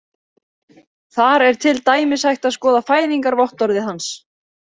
Þar er til dæmis hægt að skoða fæðingarvottorðið hans.